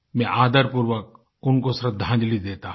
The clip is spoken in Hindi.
मैं आदरपूर्वक उनको श्रद्धांजलि देता हूँ